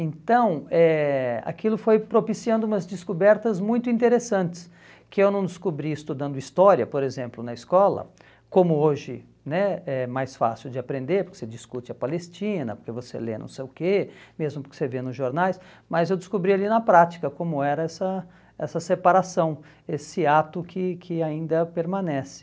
Então eh, aquilo foi propiciando umas descobertas muito interessantes, que eu não descobri estudando história, por exemplo, na escola, como hoje né é mais fácil de aprender, porque você discute a Palestina, porque você lê não sei o quê, mesmo porque você vê nos jornais, mas eu descobri ali na prática como era essa essa separação, esse ato que que ainda permanece.